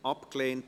Geschäft